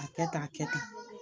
A kɛ tan, a kɛ tan.